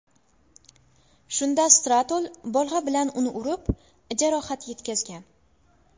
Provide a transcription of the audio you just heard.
Shunda Stratul bolg‘a bilan uni urib, jarohat yetkazgan.